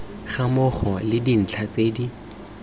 gammogo le dintlha tse di